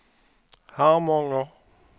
Harmånger